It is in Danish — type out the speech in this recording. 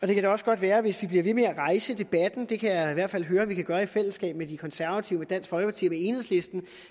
det kan da også godt være at hvis vi bliver ved med at rejse debatten det kan jeg i hvert fald høre vi kan gøre i fællesskab med de konservative dansk folkeparti og med enhedslisten